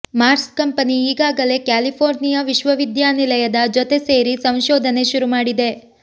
Mars company ಈಗಾಗಲೇ California ವಿಶ್ವವಿದ್ಯಾನಿಲಯದ ಜೊತೆ ಸೇರಿ ಸಂಶೋಧನೆ ಶುರು ಮಾಡಿದೆ